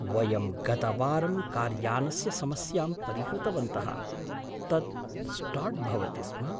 वयं गतवारं कार्यानस्य समस्यां परिहृतवन्तः, तत् स्टार्ट् भवति स्म।